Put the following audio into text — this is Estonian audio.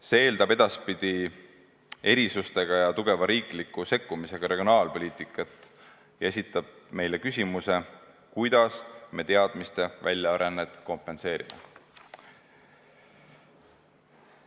See eeldab edaspidi erisustega ja tugeva riikliku sekkumisega regionaalpoliitikat ja esitab meile küsimuse, kuidas me teadmiste väljarännet kompenseerime.